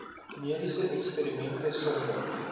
mediese eksperimente sonder